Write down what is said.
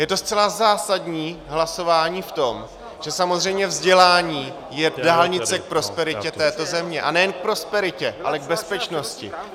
Je to zcela zásadní hlasování v tom, že samozřejmě vzdělání je dálnice k prosperitě této země, a nejen k prosperitě, ale k bezpečnosti.